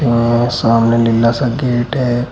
अ सामने नीला सा गेट है।